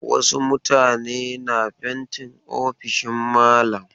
Wasu mutane na fentin ofishin malam